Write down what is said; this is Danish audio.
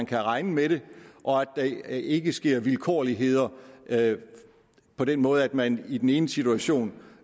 kan regne med det og at der ikke sker vilkårligheder på den måde at man i den ene situation